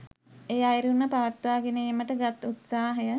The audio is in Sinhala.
ඒ අයුරින්ම පවත්වා ගෙන ඒමට ගත් උත්සාහය